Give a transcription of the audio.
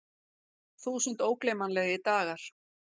Þúsund ógleymanlegir dagar.